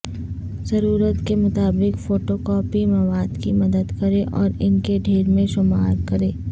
ضرورت کے مطابق فوٹوکوپی مواد کی مدد کریں اور ان کے ڈھیر میں شمار کریں